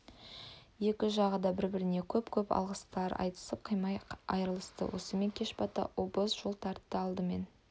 екі жағы да бір-біріне көп-көп алғыстар айтысып қимай айрылысты осымен кеш бата обоз жол тартты алдымен